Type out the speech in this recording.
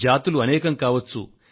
జాతులు అనేకం కావచ్చు